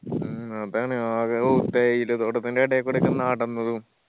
മ്മ് അതാണ് ആകെ ഔ തേയില തോട്ടത്തിന്റെ എടയിക്കൂടെ ഒക്കെ നടന്നതും